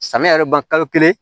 Samiya yɛrɛ ban kalo kelen